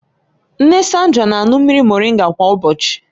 Nne Sandra na-aṅụ mmiri moringa kwa ụbọchị